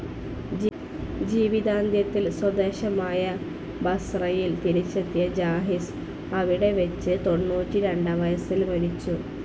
ജീവിതാന്ത്യത്തിൽ സ്വദേശമായ ബസ്രയിൽ തിരിച്ചെത്തിയ ജാഹിസ് അവിടെ വെച്ച് തൊണ്ണൂറ്റി രണ്ടാം വയസ്സിൽ മരിച്ചു.